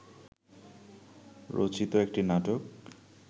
রচিত একটি নাটক